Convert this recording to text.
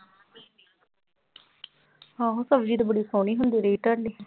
ਆਹੋ ਸਬਜ਼ੀ ਤੇ ਬੜੀ ਸੋਹਣੀ ਹੁੰਦੀ ਰਹੀ ਤੁਹਾਡੀ।